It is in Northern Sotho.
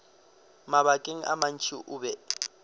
mabakeng a mantši o be